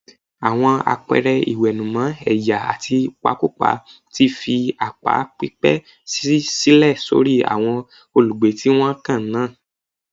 Àwọn àpẹẹrẹ ìwẹ̀nùmọ́ ẹ̀yà àti ìpakúpa ti fi àpá pípẹ́ sílẹ̀ sórí àwọn olùgbé tí wọ́n kan náà